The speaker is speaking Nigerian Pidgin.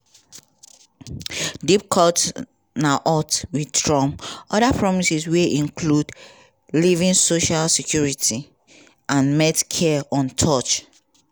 deep cuts na odds wit trump oda promises wey include leaving social security and medcare untouched.